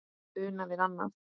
Una við annað.